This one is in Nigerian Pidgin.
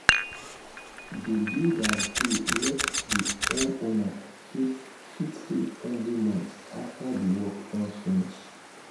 the builder gree make the homeowner fit fit pay every month after the work don finish.